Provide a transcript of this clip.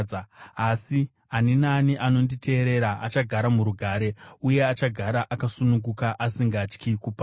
asi ani naani achanditeerera achagara murugare, uye achagara akasununguka, asingatyi kuparadzwa.”